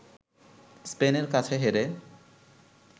স্পেনের কাছে হেরে